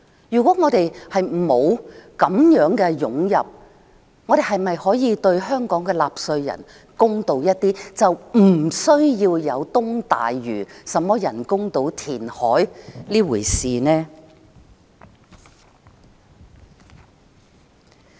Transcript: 如果沒有這些湧進來的人口，我們是否可以對香港的納稅人公道一點，不需要有東大嶼人工島填海這回事呢？